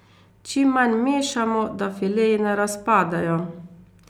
Čim manj mešamo, da fileji ne razpadejo.